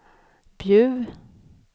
Bjuv